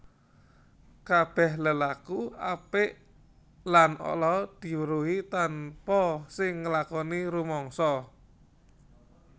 Kabèh lelaku apik lan ala diweruhi tanpa sing nglakoni rumangsa